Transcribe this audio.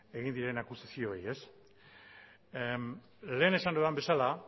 egin diren akusazioei ez lehen esan dudan bezala